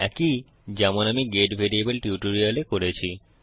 একই যেমন আমি গেট ভ্যারিয়েবল টিউটোরিয়ালে করেছি